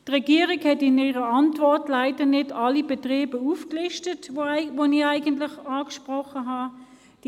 Die Regierung hat in ihrer Antwort leider nicht alle Betriebe aufgelistet, die ich angesprochen habe.